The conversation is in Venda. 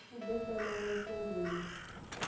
u ḓo fanela u sengulusa